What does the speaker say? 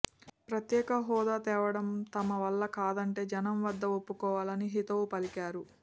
ప్రత్యేక హోదా తేవడం తమ వల్ల కాదంటే జనం వద్ద ఒప్పుకోవాలని హితవు పలికారు